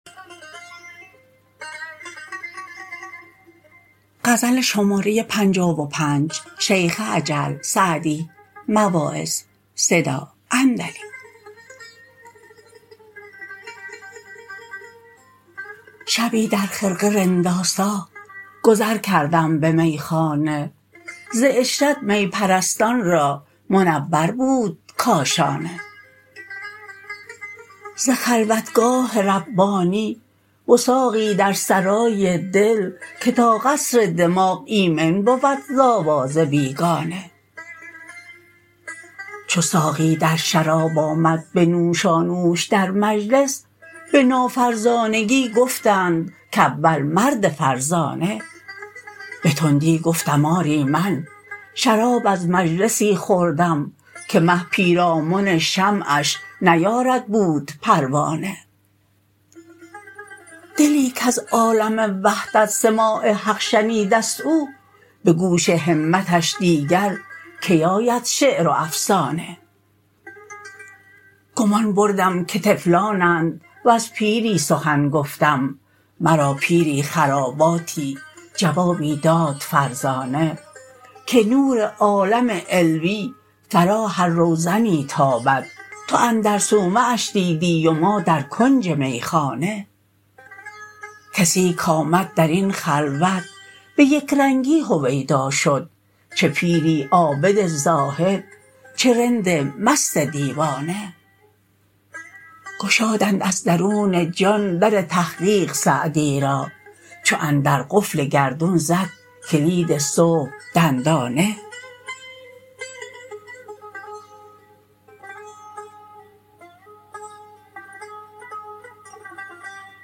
شبی در خرقه رندآسا گذر کردم به میخانه ز عشرت می پرستان را منور بود کاشانه ز خلوتگاه ربانی وثاقی در سرای دل که تا قصر دماغ ایمن بود ز آواز بیگانه چو ساقی در شراب آمد به نوشانوش در مجلس به نافرزانگی گفتند کاول مرد فرزانه به تندی گفتم آری من شراب از مجلسی خوردم که مه پیرامن شمعش نیارد بود پروانه دلی کز عالم وحدت سماع حق شنیده ست او به گوش همتش دیگر کی آید شعر و افسانه گمان بردم که طفلانند وز پیری سخن گفتم مرا پیری خراباتی جوابی داد مردانه که نور عالم علوی فرا هر روزنی تابد تو اندر صومعش دیدی و ما در کنج میخانه کسی کآمد در این خلوت به یکرنگی هویدا شد چه پیری عابد زاهد چه رند مست دیوانه گشادند از درون جان در تحقیق سعدی را چو اندر قفل گردون زد کلید صبح دندانه